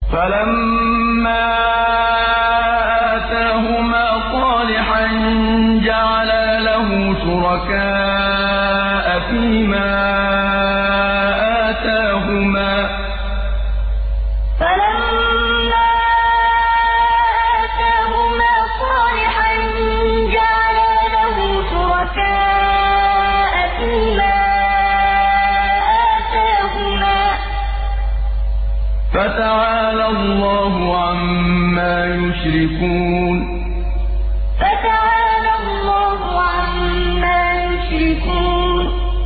فَلَمَّا آتَاهُمَا صَالِحًا جَعَلَا لَهُ شُرَكَاءَ فِيمَا آتَاهُمَا ۚ فَتَعَالَى اللَّهُ عَمَّا يُشْرِكُونَ فَلَمَّا آتَاهُمَا صَالِحًا جَعَلَا لَهُ شُرَكَاءَ فِيمَا آتَاهُمَا ۚ فَتَعَالَى اللَّهُ عَمَّا يُشْرِكُونَ